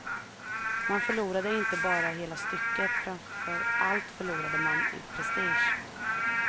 Man förlorade inte bara hela stycket, framför allt förlorade man i prestige.